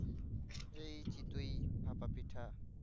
এই চিতই ভাপা পিঠা